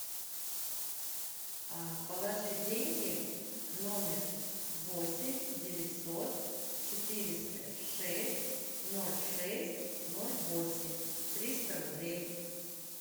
положи деньги номер восемь девятьсот четыреста шесть ноль шесть ноль восемь триста рублей